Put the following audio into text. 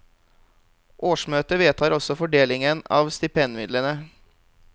Årsmøtet vedtar også fordelingen av stipendmidlene.